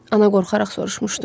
Ana qorxaraq soruşmuşdu.